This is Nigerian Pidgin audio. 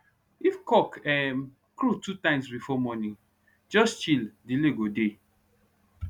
if cock um crow two times before morning just chill delay go dey